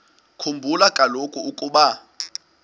khumbula kaloku ukuba